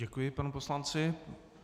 Děkuji panu poslanci.